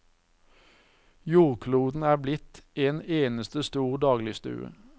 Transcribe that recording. Jordkloden er blitt en eneste stor dagligstue.